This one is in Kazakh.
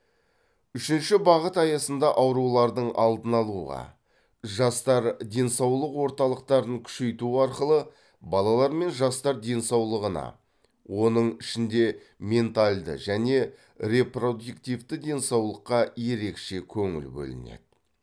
үшінші бағыт аясында аурулардың алдын алуға жастар денсаулық орталықтарын күшейту арқылы балалар мен жастар денсаулығына оның ішінде менталді және репродуктивті денсаулыққа ерекше көңіл бөлінеді